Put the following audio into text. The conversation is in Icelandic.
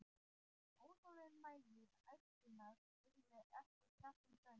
Óþolinmæði æskunnar yrði ekki sett í bönd.